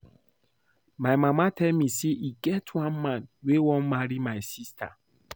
My mama tell me say e get one man wey wan marry my sister